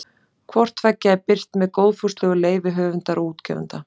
Hvort tveggja er birt með góðfúslegu leyfi höfunda og útgefanda.